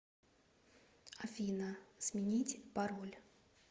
афина сменить пароль